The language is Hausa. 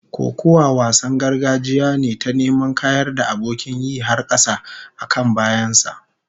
Kokuwa wasan gargajiya ne ta neman kayar da abokin yi har kasa, a kan bayan sa